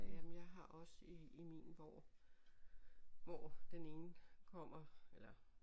Jamen jeg har også i i min hvor hvor den ene kommer eller